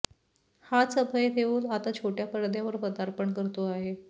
हाच अभय देओल आता छोटया पडद्यावर पदार्पण करतो आहे